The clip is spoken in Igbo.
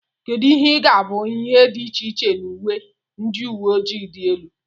kedu ihe ga-abụ ihe dị iche na uwe ndị uwe ojii dị elu